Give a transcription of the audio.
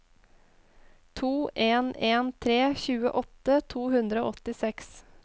to en en tre tjueåtte to hundre og åttiseks